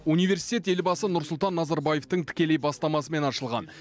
университет елбасы нұрсұлтан назарбаевтың тікелей бастамасымен ашылған